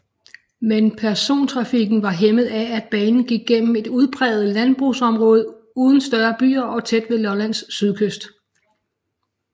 Men persontrafikken var hæmmet af at banen gik gennem et udpræget landbrugsområde uden større byer og tæt ved Lollands sydkyst